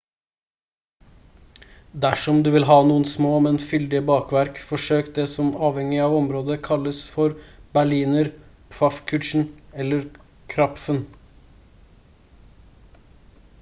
dersom du vil ha noen små men fyldige bakverk forsøk det som avhengig av område kalles for berliner pfannkuchen eller krapfen